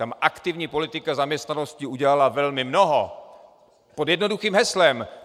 Tam aktivní politika zaměstnanosti udělala velmi mnoho pod jednoduchým heslem.